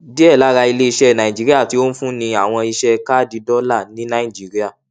díẹ lára iléiṣẹ naijiria tí ó ń fúnni àwọn iṣẹ káàdì dọlà ní nàìjíríà